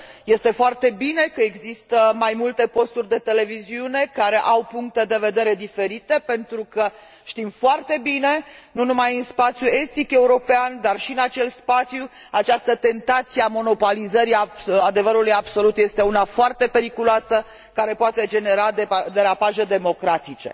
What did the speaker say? Este foarte bine că există mai multe posturi de televiziune care au puncte de vedere diferite, pentru că, știm foarte bine, nu numai în spațiul estic european, dar și în acel spațiu, această tentație a monopolizării adevărului absolut este una foarte periculoasă, care poate genera derapaje democratice.